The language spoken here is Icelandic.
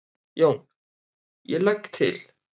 JÓN: Ég legg til.